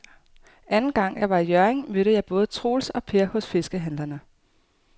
Anden gang jeg var i Hjørring, mødte jeg både Troels og Per hos fiskehandlerne.